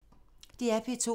DR P2